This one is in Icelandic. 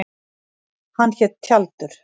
Hann hét Tjaldur.